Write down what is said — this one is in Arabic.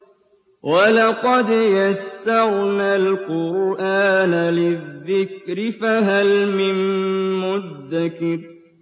وَلَقَدْ يَسَّرْنَا الْقُرْآنَ لِلذِّكْرِ فَهَلْ مِن مُّدَّكِرٍ